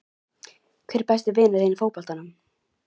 Hver er besti vinur þinn í fótboltanum?